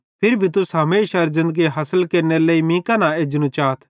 फिरी भी तुस हमेशारे ज़िन्दगी हासिल केरनेरे लेइ मीं कां न एजनू चाथ